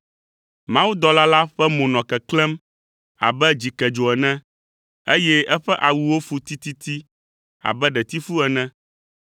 Mawudɔla la ƒe mo nɔ keklẽm abe dzikedzo ene, eye eƒe awuwo fu tititi abe ɖetifu ene.